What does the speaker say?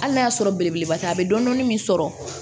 Hali n'a y'a sɔrɔ belebeleba tɛ a bɛ dɔnni min sɔrɔ